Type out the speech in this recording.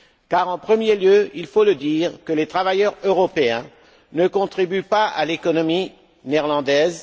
Car, en premier lieu, il faut le dire, les travailleurs européens ne contribuent pas à l'économie néerlandaise.